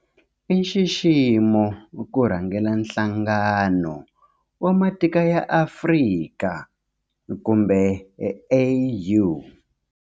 I nxiximo ku rhangela Nhlangano wa Matiko ya Afrika kumbe AU.